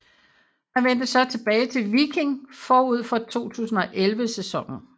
Han vendte så tilbage til Viking forud for 2011 sæsonen